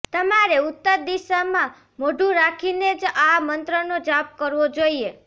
તમારે ઉત્તર દિશામાં મોઢું રાખીને જ આ મંત્રનો જાપ કરવો જોઈએ